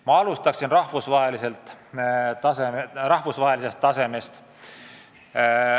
Ma alustan rahvusvahelisest tasemest.